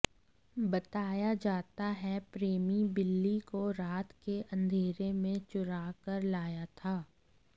बताया जाता है प्रेमी बिल्ली को रात के अंधेरे में चुरा कर लाया था